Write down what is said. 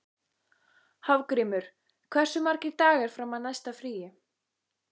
Hafgrímur, hversu margir dagar fram að næsta fríi?